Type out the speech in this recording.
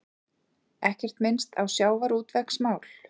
Ekkert minnst á sjávarútvegsmál